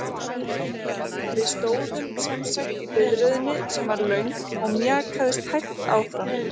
Við stóðum semsagt í biðröðinni sem var löng og mjakaðist hægt áfram.